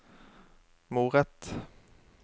moret